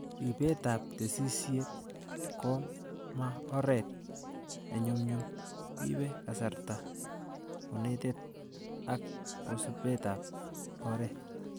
Ripetab tesisyit koma oret nenyumnyum. Ibee kasarta, konetet ak kasubetab oret